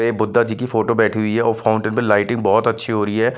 ये बुद्धा जी की फोटो बैठी हुई है और फाउंटेन पर लाइटिंग बहुत अच्छी हो रही है।